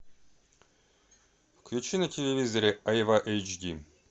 включи на телевизоре айва эйч ди